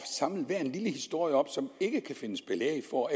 samle enhver lille historie op som ikke kan findes belæg for